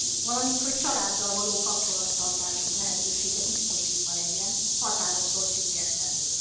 valamint hogy a családdal való kapcsolattartás lehetősége biztosítva legyen határoktól függetlenül.